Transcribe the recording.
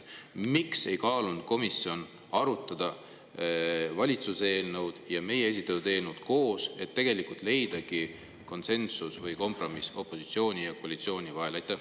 Miks ei kaalunud komisjon seda, et võiks arutada valitsuse eelnõu ja meie esitatud eelnõu koos, et leida konsensus või kompromiss opositsiooni ja koalitsiooni vahel?